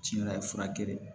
Tiɲɛna furakɛli